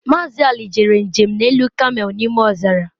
Mazị Ali jere njem n'elu kamel n'ime ọzara